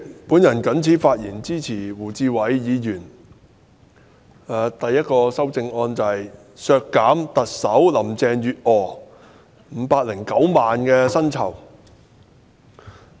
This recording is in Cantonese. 主席，我發言支持胡志偉議員提出編號1的修正案，削減特首林鄭月娥509萬元的全年薪酬開支。